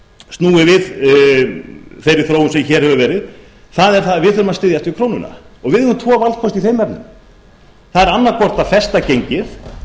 snúið við þeirri þróun sem hér hefur verið er að við þurfum að styðjast við krónuna við höfum tvo valkosti í þeim efnum það er annaðhvort að festa gengið